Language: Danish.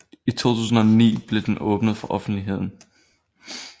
I 2009 blev den åbnet for offentligheden